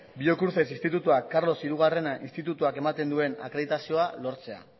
biocruces institutua carlos hirugarren institutuak ematen duen akreditazioa lortzea